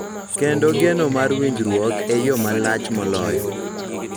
Kendo geno mar winjruok e yo malach moloyo.